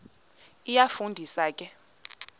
iyafu ndisa ke